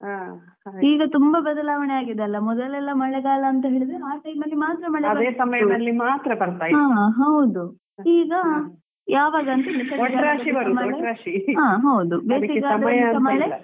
ಈಗ ತುಂಬಾ ಬದಲಾವಣೆಯಾಗಿದೆಲ್ವಾ ಮೊದಲೆಲ್ಲಾ ಮಳೆಗಾಲ ಅಂಥೇಳಿದ್ರೆ ಆ time ಅಲ್ಲಿ ಮಾತ್ರ ಮಳೆ ಹ ಹೌದು ಈಗಾ ಯಾವಾಗ ಅಂಥೇಳಿಲ್ಲಾ ಹಾ ಹೌದು ಬೇಸಿಗೆಗಾಲದಲ್ಲಿ ಮಳೆ.